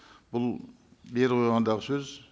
бұл бері қойғандағы сөз